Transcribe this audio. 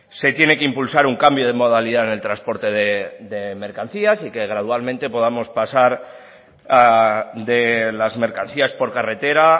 se tiene que impulsar un cambio de modalidad en el transporte de mercancías y que gradualmente podamos pasar de las mercancías por carretera